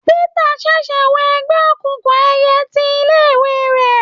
Pítà ṣẹ̀ṣẹ̀ wọ ẹgbẹ́ òkùnkùn ẹyẹ ti ilé ìwé rẹ̀.